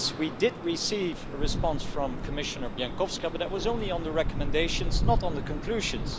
Yes, we did receive a response from Commissioner Bieńkowska, but that was only on the recommendations, not the conclusions.